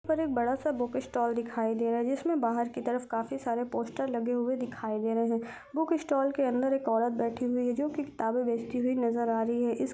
पर एक बड़ा सा बुक स्टॉल दिखाई दे रहा है जिसमें बाहर के तरफ काफ़ी सारे पोस्टर लगे हुए दिखाई दे रहे है बुक स्टॉल के अंदर एक औरत बैठी हुई है जो कि किताबे बेचती हुई नजर आ रही है इस--